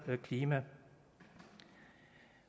klima